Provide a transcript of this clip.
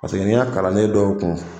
n ka kalanden dɔw tun